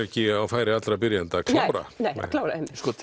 ekki á færi allra byrjenda að klára klára